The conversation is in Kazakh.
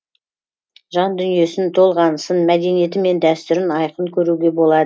жан дүниесін толғанысын мәдениеті мен дәстүрін айқын көруге